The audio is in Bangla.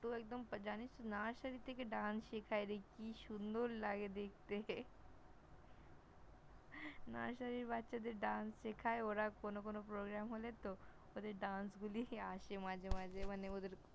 পুরো একদম জানিস তো, Nursery থেকে শেখায় রে কি সুন্দর লাগে দেখতে! Nursery -র বাচ্চা দের Dance শেখায় ওরা কোন কোন Programme হলে তো, ওদের Dance গুলি আসে মাঝে মাঝে মানে ওদের